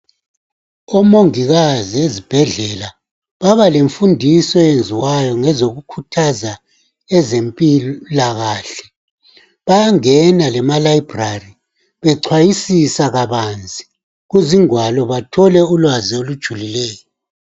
Omongikazi ezibhedlela baba lemfundiso eyenziwa ngezokukhuthaza ezempilakahle bayangena lemaLibrary bechwayisisa kabanzi kuzingwalo bathole ulwazi olujulileyo.